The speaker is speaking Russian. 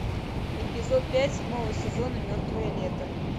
эпизод пять седьмого сезона мертвое лето